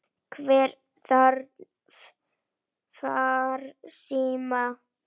Hver þarf farsíma?